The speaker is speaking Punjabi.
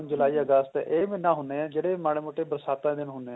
ਜੁਲਾਈ ਅਗਸਤ ਇਹ ਮਹੀਨੇ ਹੁੰਦੇ ਨੇ ਜਿਹੜੇ ਮਾੜੇ ਮੋਟੇ ਬਰਸਾਤਾ ਦੇ ਦਿਨ ਹੁੰਦੇ ਨੇ